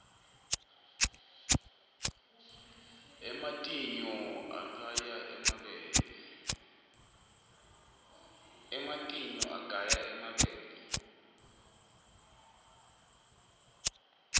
ematinyou aqaya emabele